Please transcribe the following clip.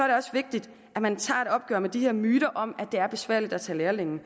det også vigtigt at man tager et opgør med de her myter om at det er besværligt at tage lærlinge